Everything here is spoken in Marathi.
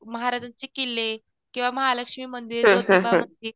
महाराजांचे किल्ले किंवा महालक्ष्मी मंदिर